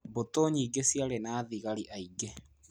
Mbutu nyingĩ ciarĩ na thigari aingĩ.